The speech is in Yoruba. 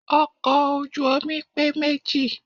Ọkọ̀ ojú omi pé méjì.